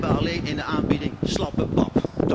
Wij hebben alleen in de aanbieding slappe pap.